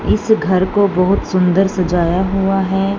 इस घर को बहोत सुंदर सजाया हुआ है।